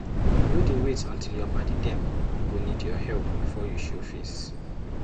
No dey wait until your paddy dem go need help before you show face.